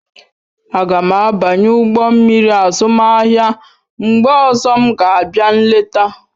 Aga m abanye ụgbọ mmiri azụmahịa mgbe ọzọ m ga-abịa nleta.